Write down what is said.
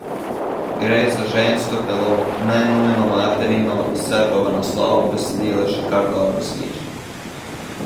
Gre za žensko telo, ne nujno materino, se pa v naslovu besedila še kar dobro sliši.